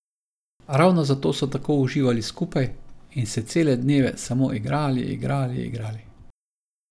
Ravno zato so tako uživali skupaj in se cele dneve samo igrali, igrali, igrali.